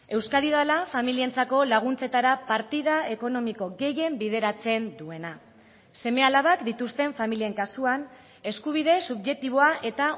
euskadi dela familientzako laguntzetara partida ekonomiko gehien bideratzen duena seme alabak dituzten familien kasuan eskubide subjektiboa eta